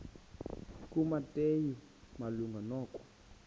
kumateyu malunga nokwa